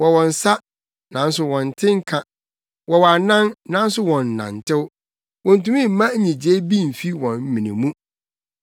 Wɔwɔ nsa, nanso wɔnte nka; wɔwɔ anan, nanso wɔnnantew. Wontumi mma nnyigyei bi mfi wɔn mene mu.